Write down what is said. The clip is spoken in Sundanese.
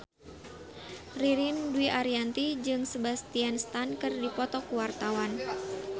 Ririn Dwi Ariyanti jeung Sebastian Stan keur dipoto ku wartawan